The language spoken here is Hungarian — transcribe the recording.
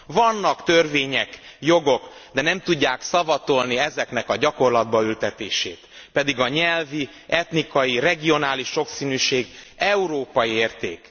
Vannak törvények, jogok, de nem tudják szavatolni ezeknek a gyakorlatba ültetését, pedig a nyelvi, etnikai, regionális sokszínűség európai érték.